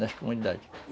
Nas comunidades.